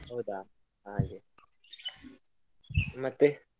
ಹೌದ ಹಾಗೆ ಮತ್ತೆ.